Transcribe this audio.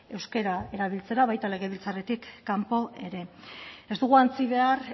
euskera erabiltzera baita legebiltzarretik kanpo ere ez dugu ahantzi behar